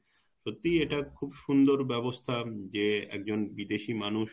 সত্যি একটা খুব সুন্দর ব্যবস্থা যে একজন বিদেশী মানুষ